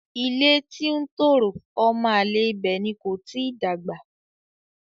Ilé tí ń tòrò ọmọ àlè ibẹ̀ ni kò tíì dàgbà.